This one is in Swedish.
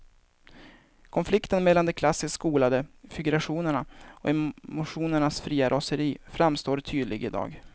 Konflikten mellan de klassiskt skolade figurationerna och emotionernas fria raseri framstår tydlig i dag.